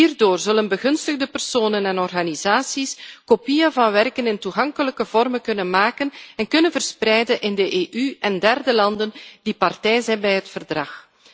Hierdoor zullen begunstigde personen en organisaties kopieën van werken in toegankelijke vormen kunnen maken en kunnen verspreiden in de EU en derde landen die partij zijn bij het verdrag.